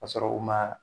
Ka sɔrɔ u ma